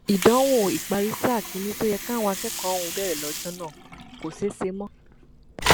ìdánwò ìparí sáà kìíní tó yẹ káwọn akẹ́kọ̀ọ́ ọ̀hún bẹ̀rẹ̀ lọ́jọ́ náà kò ṣeé ṣe mọ́